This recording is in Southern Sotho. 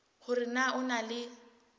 hore na o na le